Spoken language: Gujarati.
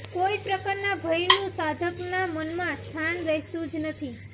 કોઈ પ્રકારના ભયનું સાધકનાં મનમાં સ્થાન રહેતું જ નથી